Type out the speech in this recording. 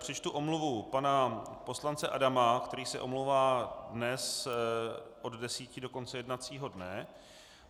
Přečtu omluvu pana poslance Adama, který se omlouvá dnes od 10 do konce jednacího dne.